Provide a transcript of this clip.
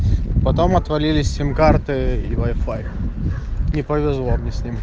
потом отвалились сим-карты и вай-фай не повезло мне с ним